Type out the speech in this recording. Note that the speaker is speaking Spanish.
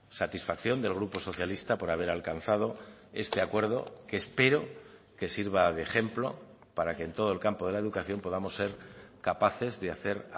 satisfacción del grupo socialista por haber alcanzado este acuerdo que espero que sirva de ejemplo para que en todo el campo de la educación podamos ser capaces de hacer